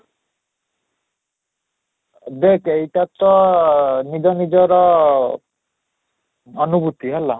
ଦେଖ ଏଇଟା ତ ନିଜ ନିଜର ଅନୁଭୂତି ହେଲା